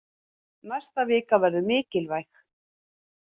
Næsta vika verður mikilvæg.